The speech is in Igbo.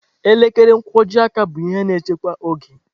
Elekere nkwojiaka bụ ihe na-echekwa oge.